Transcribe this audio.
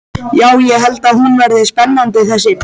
Já, ég held hún verði spennandi þessi.